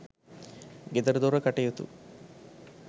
ගෙදරදොර කටයුතු